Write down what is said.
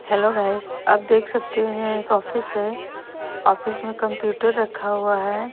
Hello guys आप देख सकते हो यहां एक ऑफिस है ऑफिस में कंप्यूटर रखा हुआ है।